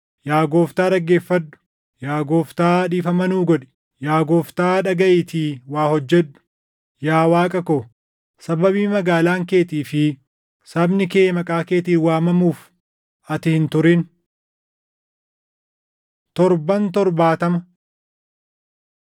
Yaa Gooftaa dhaggeeffadhu! Yaa Gooftaa dhiifama nuu godhi! Yaa Gooftaa dhagaʼiitii waa hojjedhu! Yaa Waaqa ko, sababii magaalaan keetii fi sabni kee Maqaa keetiin waamamuuf ati hin turin.” Torban “Torbaatama”